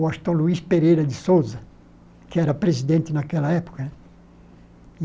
O Astor Luiz Pereira de Sousa, que era presidente naquela época.